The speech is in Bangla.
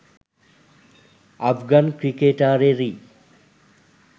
আফগান ক্রিকেটারেরই